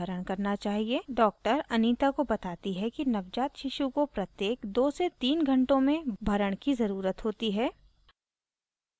doctor anita को बताती है कि नवजात शिशु को प्रत्येक 2 से 3 घण्टों में भरण की ज़रुरत होती है